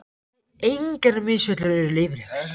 Nei, engar misfellur eru leyfilegar.